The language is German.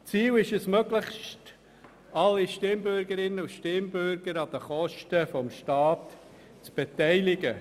Ziel ist es, möglichst alle Stimmbürgerinnen und Stimmbürger an den Kosten des Staats zu beteiligen.